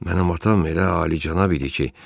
Mənim atam elə alicənab idi ki,